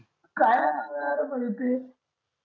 काय असं यार म्हणति